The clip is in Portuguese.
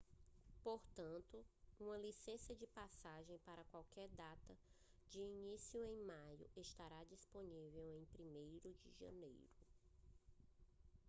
portanto uma licença de paisagem para qualquer data de início em maio estará disponível em 1° de janeiro